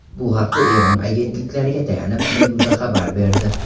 Bu haqda Eron agentliklariga tayanib, Meduza xabar berdi .